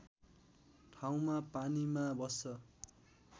ठाउँमा पानीमा बस्छ